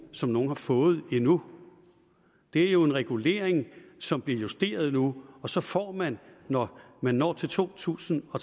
som nogen har fået endnu det er jo en regulering som bliver justeret nu og så får man når man når til to tusind og